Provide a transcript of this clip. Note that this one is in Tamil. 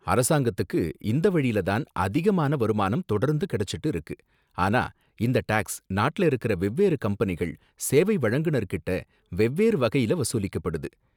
அரசாங்கத்துக்கு இந்த வழில தான் அதிகமான வருமானம் தொடர்ந்து கிடைச்சுட்டு இருக்கு, ஆனா இந்த டேக்ஸ் நாட்டுல இருக்குற வெவ்வேறு கம்பனிகள், சேவை வழங்குநர் கிட்ட வெவ்வேறு வகையில வசூலிக்கப்படுது.